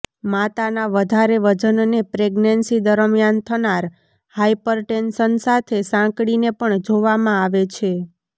માતાના વધારે વજનને પ્રેગ્નન્સી દરમિયાન થનાર હાઇપર ટેન્શન સાથે સાંકળીને પણ જોવામાં આવે છે